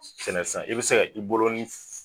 Sɛnɛfɛn i be seka i bolo nin f